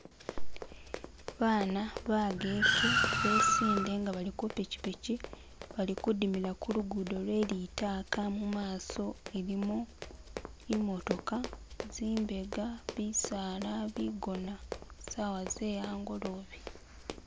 Bana bageke besinde nga bali kupikpiki, bali kudimila ku lugudo lwe'litaka, mumaso ilimo imotoka, zimbega bisaala, bigona, sawa ze'angolobe